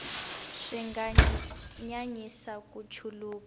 swi nga nyanyisa ku chuluka